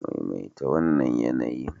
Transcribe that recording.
Maimaita wannan yanayin.